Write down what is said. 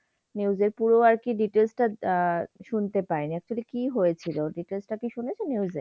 news এ পুরো আরকি details টা আহ শুনতে পাইনি। actually কি হয়েছিল? details টা কি শুনেছো news এ?